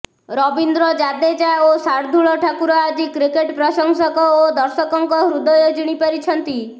ରବୀନ୍ଦ୍ର ଜାଦେଜା ଓ ଶାର୍ଦ୍ଦୁଳ ଠାକୁର ଆଜି କ୍ରିକେଟ ପ୍ରଶଂସକ ଓ ଦର୍ଶକଙ୍କ ହୃଦୟ ଜିଣି ପାରିଛନ୍ତି